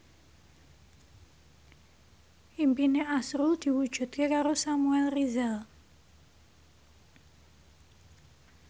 impine azrul diwujudke karo Samuel Rizal